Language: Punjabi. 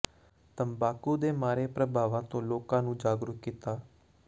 ਤੰਬਾਕੂ ਦੇ ਮਾੜੇ ਪ੍ਰਭਾਵਾਂ ਤੋਂ ਲੋਕਾਂ ਨੂੰ ਜਾਗਰੂਕ ਕੀਤਾ